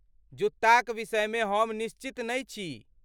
जुत्ताक विषयमे हम निश्चित नहि छी।